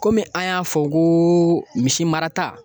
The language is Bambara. Komi an y'a fɔ ko misi marata